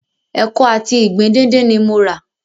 Ẹkọ àti ìgbín díndín ni mo rà.